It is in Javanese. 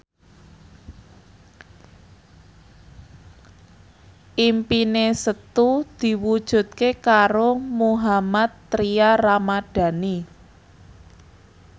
impine Setu diwujudke karo Mohammad Tria Ramadhani